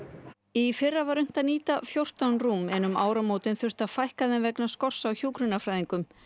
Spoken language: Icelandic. í fyrra var unnt að nýta fjórtán rúm en um áramótin þurfti að fækka þeim vegna skorts á hjúkrunarfræðingum